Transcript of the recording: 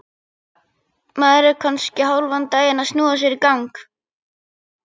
Maður er kannski hálfan daginn að snúa sér í gang.